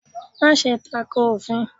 Máse tako òfin